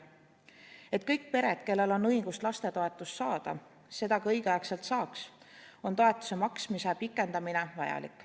Selleks et kõik pered, kellel on õigust lastetoetust saada, seda õigeaegselt saaks, on toetuse maksmise pikendamine vajalik.